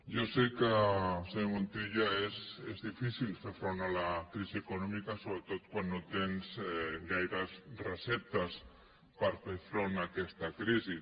jo sé que senyor montilla és difícil fer front a la crisi econòmica sobretot quan no tens gaires receptes per fer front a aquesta crisi